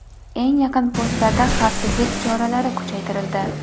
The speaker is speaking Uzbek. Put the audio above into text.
Eng yaqin postlarda xavfsizlik choralari kuchaytirildi.